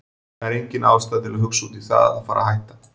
Það er engin ástæða til að hugsa út í það að fara hætta.